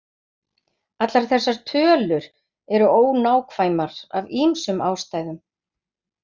Allar þessar tölur eru ónákvæmar af ýmsum ástæðum.